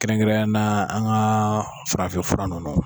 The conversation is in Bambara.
Kɛrɛnkɛrɛnya na an ka farafinfura nunu.